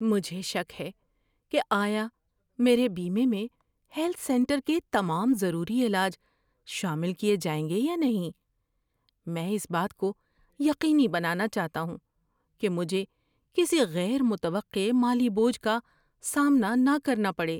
مجھے شک ہے کہ آیا میرے بیمے میں ہیلتھ سینٹر کے تمام ضروری علاج شامل کیے جائیں گے یا نہیں۔ میں اس بات کو یقینی بنانا چاہتا ہوں کہ مجھے کسی غیر متوقع مالی بوجھ کا سامنا نہ کرنا پڑے۔